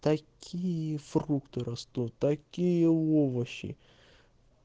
такие фрукты растут такие овощи